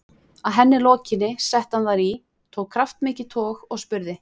Að henni lokinni setti hann þær í, tók kraftmikið tog og spurði